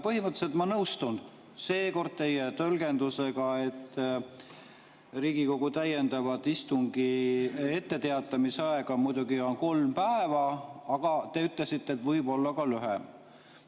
Põhimõtteliselt ma nõustun seekord teie tõlgendusega, et Riigikogu täiendava istungi etteteatamise aeg on muidugi kolm päeva, aga te ütlesite, et see võib olla ka lühem.